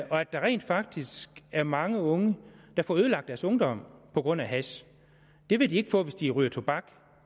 at der rent faktisk er mange unge der får ødelagt deres ungdom på grund af hash det vil de ikke få hvis de ryger tobak